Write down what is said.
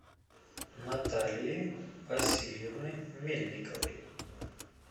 наталии васильевны мельниковой